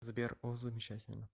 сбер о замечательно